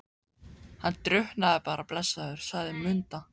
Hann drukknaði bara blessaður, sagði Munda.